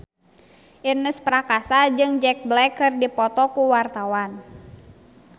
Ernest Prakasa jeung Jack Black keur dipoto ku wartawan